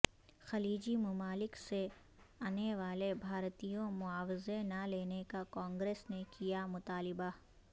خلیجی ممالک سے انے والے بھارتیوں معاوضہ نہ لینے کا کانگریس نے کیا مطالبہ